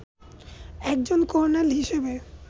একজন কর্নেল হিসেবে